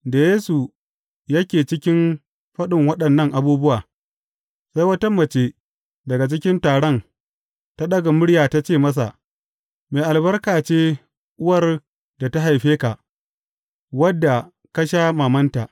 Da Yesu yake cikin faɗin waɗannan abubuwa, sai wata mace daga cikin taron ta ɗaga murya ta ce masa, Mai albarka ce uwar da ta haife ka, wadda ka sha mamanta.